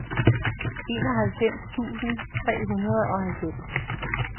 enoghalvfems tusind tre hundrede og halvfems